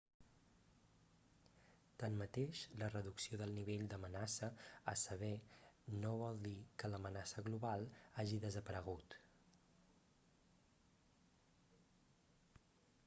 tanmateix la reducció del nivell d'amenaça a sever no vol dir que l'amenaça global hagi desaparegut